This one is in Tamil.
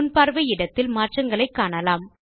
முன்பார்வை இடத்தில் மாற்றத்தை காணலாம்